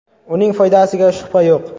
Uning foydasiga shubha yo‘q.